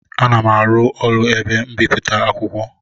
Ana m arụ n'ụlọ ebe mbipụta akwụkwọ